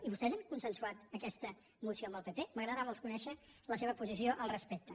i vostès han consensuat aquesta moció amb el pp m’agradarà molt conèixer la seva posició al respecte